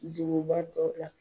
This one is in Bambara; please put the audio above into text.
Duguba dɔ la